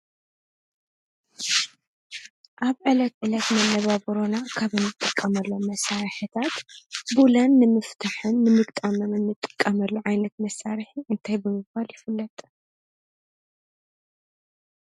ኣብ ዕለት ዕለት መነባብሮና ካብ ንጥቀመሎ መሣርሕታት ቡላን ንምፍትሕን ንምግጣም እንጥቀመሉ ዓይነት መሣርሒ እንታይ ብምባል ይፍለጠ?